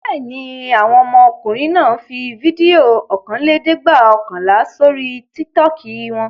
Bẹ́ẹ̀ ni, àwọn ọmọkùnrin náà fi fídíò ọ̀kanlẹ́ẹ̀dẹ́gbẹ̀ọ̀kànlá sórí Tiktok wọn.